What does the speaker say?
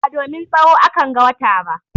Ba domin tsaho a kan ga wata ba.